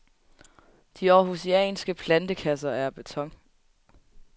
De århusianske plantekasser er af beton.